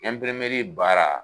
baara